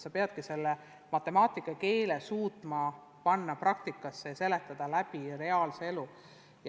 Sa pead matemaatika keele suutma panna praktikasse ja seletada matemaatikat läbi reaalse elu.